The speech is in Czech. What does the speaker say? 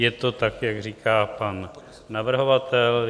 Je to tak, jak říká pan navrhovatel.